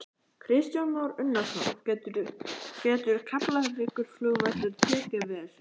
Kristján Már Unnarsson: Getur Keflavíkurflugvöllur tekið við þessu?